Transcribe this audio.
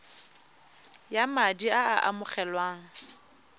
ya madi a a amogelwang